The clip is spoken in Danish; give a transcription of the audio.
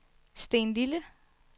Stenlille